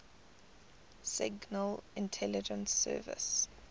signal intelligence service